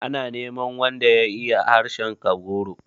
Ana neman wanda ya iya harshen Kagoro.